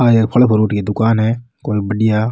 आ एक फल फ्रूट की दुकान है कोई बढ़िया।